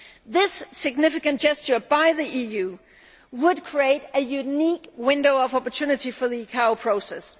This significant gesture by the EU would create a unique window of opportunity for the ICAO process.